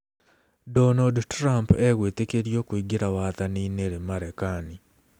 Donald Trump egwĩtĩkĩrio kũingĩra wathani-inĩ rĩ Marekani?